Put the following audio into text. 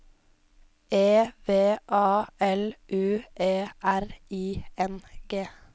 E V A L U E R I N G